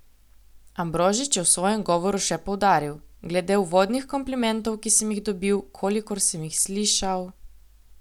Ambrožič je v svojem govoru še poudaril: 'Glede uvodnih komplimentov, ki sem jih dobil, kolikor sem jih slišal ...